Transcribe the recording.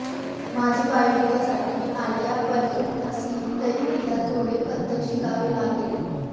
माझ्या बायोपिकसाठी आलिया परफेक्ट असली तरी तिला थोडे कथ्थक शिकावे लागेल